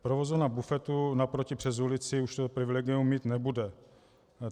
Provozovna bufetu naproti přes ulici už toto privilegium mít nebude.